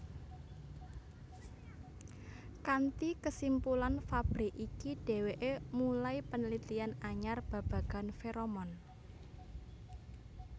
Kanti kesimpulan Fabre iki deweke mulai penelitian anyar babagan feromon